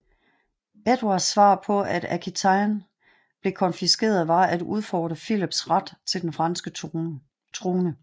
Edvards svar på at Aquitaine blev konfiskeret var at udfordre Philips ret til den franske trone